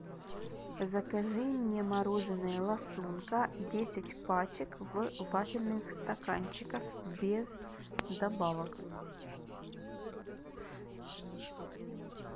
закажи мне мороженое ласунка десять пачек в вафельных стаканчиках без добавок